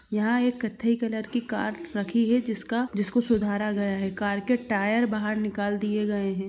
यहाँ एक कत्थई कलर की कार रखी है जिसका जिसको सुधारा गया है कार के टायर बाहर निकाल दिए गए है।